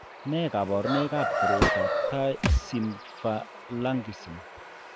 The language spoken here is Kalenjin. Nee kabarunoikab koroitoab Thai symphalangism?